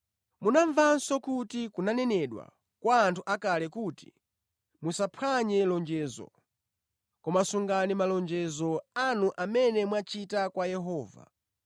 “Munamvanso kuti kunanenedwa kwa anthu akale kuti, ‘Musaphwanye lonjezo; koma sungani malonjezo anu amene mwachita kwa Yehova.’